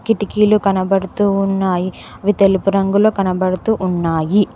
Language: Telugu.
కిటికీలు కనబడుతూ ఉన్నాయి అవి తెలుపు రంగులో కనబడుతూ ఉన్నాయి.